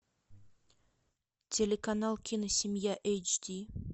телеканал киносемья эйч ди